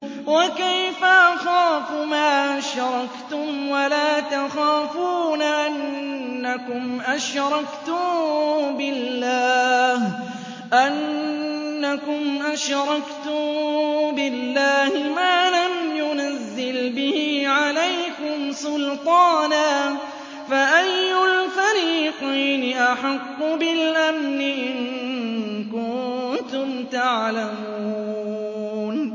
وَكَيْفَ أَخَافُ مَا أَشْرَكْتُمْ وَلَا تَخَافُونَ أَنَّكُمْ أَشْرَكْتُم بِاللَّهِ مَا لَمْ يُنَزِّلْ بِهِ عَلَيْكُمْ سُلْطَانًا ۚ فَأَيُّ الْفَرِيقَيْنِ أَحَقُّ بِالْأَمْنِ ۖ إِن كُنتُمْ تَعْلَمُونَ